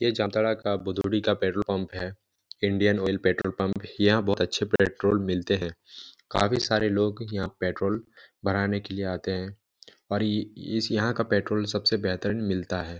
यह जामताड़ा का बुडूरि का पेट्रोल पम्प है इंडियन ऑइल पेट्रोल पम्प यहाँ बहुत अच्छे पेट्रोल मिलते है काफी सारे लोग यहाँ पेट्रोल भराने के लिए आते है और इस यहाँ का पेट्रोल सब से बेहतर मिलता हैं।